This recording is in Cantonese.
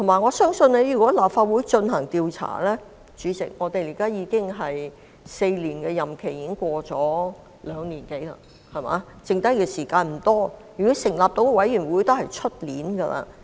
再者，主席，如果由立法會進行調查，現時4年的任期已過了兩年多，餘下時間已無多，而即使要成立委員會，也會是明年的事。